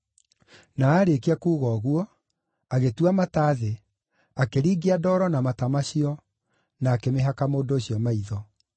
Na aarĩkia kuuga ũguo, agĩtua mata thĩ, akĩringia ndoro na mata macio, na akĩmĩhaka mũndũ ũcio maitho.